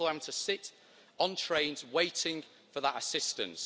People have to sit on trains waiting for that assistance.